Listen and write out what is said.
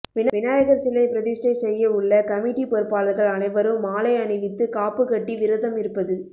விநாயகர் சிலை பிரதிஷ்டை செய்ய உள்ள கமிட்டி பொறுப்பாளர்கள் அனைவரும் மாலை அணிவித்து காப்பு கட்டி விரதம் இருப்பது